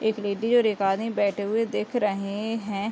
एक लेडी और एक आदमी बैठे हुए दिख रहे हैं।